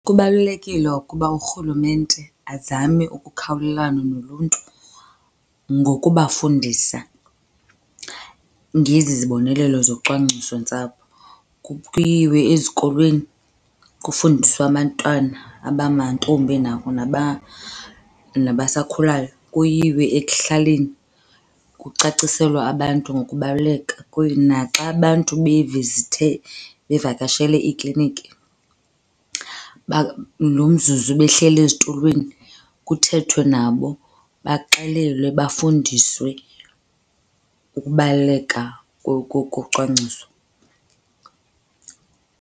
Kubalulekile ukuba uRhulumente azame ukukhawulelana noluntu ngokubafundisa ngezi zibonelelo zocwangcisontsapho. Kuyiwe ezikolweni kufundiswe abantwana abangamantombi nabasakhulayo. Kuyiwe ekuhlaleni, kucaciselwe abantu ngokubaluleka naxa abantu bevizithe, bavakashele iikliniki lo mzuzu behleli ezitulweni kuthethwe nabo baxelelwe bafundiswe ukubaluleka kocwangciso.